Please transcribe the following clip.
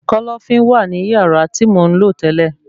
Kọ́lọ́fín wà ní yàrá tí mò ń lò tẹ́lẹ̀